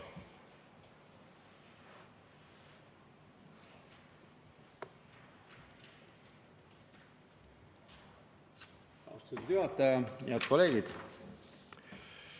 Aitäh!